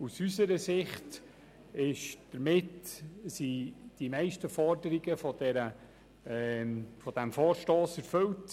Aus unserer Sicht sind die meisten Forderungen dieses Vorstosses erfüllt.